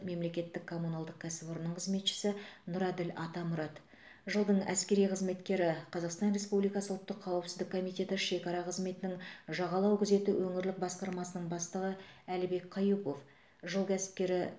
мемлекеттік коммуналдық кәсіпорынның қызметшісі нұрәділ атамұрат жылдың әскери қызметкері қазақстан республикасы ұлттық қауіпсіздік комитеті шекара қызметінің жағалау күзеті өңірлік басқармасының бастығы әлібек қаюпов жыл кәсіпкері